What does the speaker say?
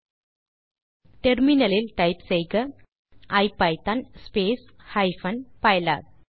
இப்போது டெர்மினல் லில் டைப் செய்க ஐபிதான் ஸ்பேஸ் ஹைபன் பைலாப்